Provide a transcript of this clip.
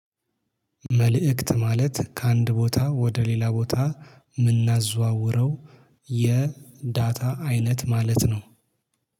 መልእክት ማለት ከአንድ ቦታ ወደ ሌላ ቦታ ምናዘዋውረው የዳታ አይነት ማለት ነው